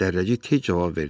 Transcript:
Dərrəcik tez cavab verdi.